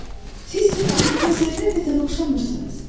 Siz mənim gülüme zərrə qədər oxşamırsınız.